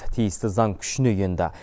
тиісті заң күшіне енді